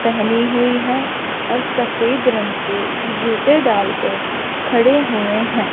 पहनी हुई है और सफेद रंग के जूते डालकर खड़े हुए हैं।